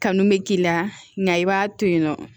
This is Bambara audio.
Kanu bɛ k'i la nka i b'a to yen nɔ